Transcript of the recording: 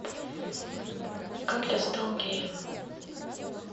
как я стал геем